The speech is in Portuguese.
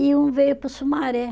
E um veio para o Sumaré.